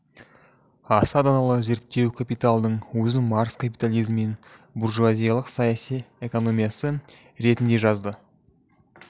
аса даналы зерттеу капиталдың өзін маркс капитализм мен буржуазиялық саяси экономиясы ретінде жазды